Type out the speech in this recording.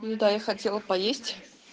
ну да я хотела поесть